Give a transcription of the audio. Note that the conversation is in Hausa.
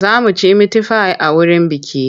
Za mu ci mitifai a wurin bukih.